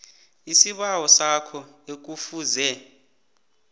isibawo sakho ekufuze